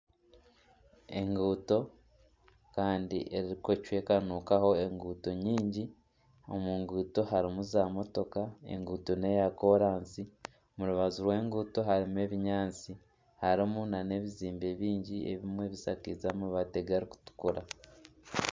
Enguuto Kandi ezirikucwekanukaho enguuto nyingi. Omu nguuto harimu zaamotoka enguuto n'eya kolansi omu rubaju rw'enguuto harimu ebinyaatsi harimu nana ebizimbe bingi ebimwe bishakaize amàbaati garikutukura.